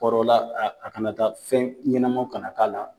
Kɔrɔ la a a kana taa fɛn ɲɛnamaw ka na k'a la.